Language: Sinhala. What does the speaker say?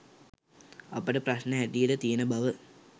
අපට ප්‍රශ්න හැටියට තියෙන බව